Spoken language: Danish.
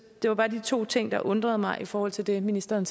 det var bare de to ting der undrede mig i forhold til det ministeren